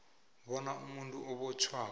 bona umuntu obotjhwako